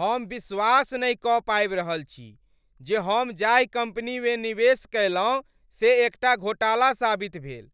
हम विश्वास नहि कऽ पाबि रहल छी जे हम जाहि कम्पनीमे निवेश कयलहुँ से एकटा घोटाला साबित भेल।